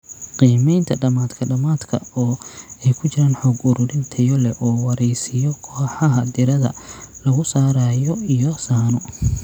Qiimaynta dhamaadka-dhamaadka oo ay ku jiraan xog ururin tayo leh oo waraysiyo, kooxaha diirada lagu saarayo iyo sahanno.